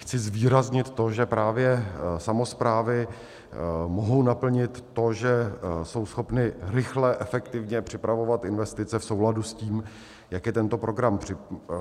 Chci zvýraznit to, že právě samosprávy mohou naplnit to, že jsou schopny rychle, efektivně připravovat investice v souladu s tím, jak je tento program předpokládá.